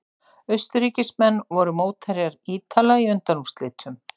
Austurríkismenn voru mótherjar Ítala í undanúrslitum.